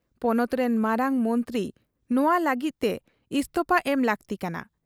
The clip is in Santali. ᱯᱚᱱᱚᱛ ᱨᱤᱱ ᱢᱟᱨᱟᱝ ᱢᱚᱱᱛᱨᱤ ᱱᱚᱶᱟ ᱞᱟᱹᱜᱤᱫ ᱛᱮ ᱤᱥᱛᱚᱯᱷᱟ ᱮᱢ ᱞᱟᱹᱠᱛᱤ ᱠᱟᱱᱟ ᱾